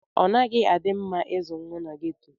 Ọnaghi adi mma izụ nwa n'ghetto.